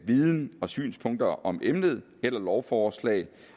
viden og synspunkter om emne eller lovforslag